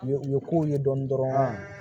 U ye u ye kow ye dɔɔnin dɔrɔn